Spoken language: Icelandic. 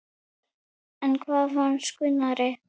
En hvað fannst Gunnari?